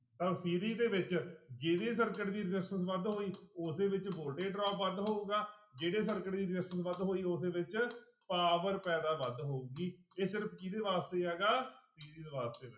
ਦੇ ਵਿੱਚ ਜਿਹੜੇ circuit ਦੀ resistance ਵੱਧ ਹੋਈ ਉਸੇ ਵਿੱਚ voltage drop ਵੱਧ ਹੋਊਗਾ ਜਿਹੜੇ circuit ਦੀ resistance ਵੱਧ ਹੋਈ ਉਸੇ ਵਿੱਚ power ਪੈਦਾ ਵੱਧ ਹੋਊਗੀ ਇਹ ਸਿਰਫ਼ ਕਿਹਦੇ ਵਾਸਤੇ ਹੈਗਾ ਵਾਸਤੇ